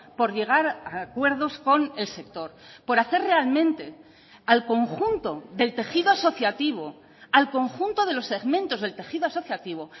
por llegar a acuerdos con el sector por hacer realmente al conjunto del tejido asociativo al conjunto de los segmentos del tejido asociativo